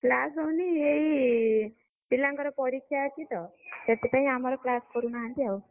class ହଉନି ଏଇ, ପିଲାଙ୍କର ପରୀକ୍ଷା ଅଛି ତ ସେଥିପାଇଁ ଆମର class କରୁନାହାନ୍ତି ଆଉ।